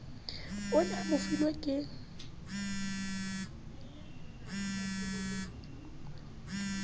o ne a mofilwe ke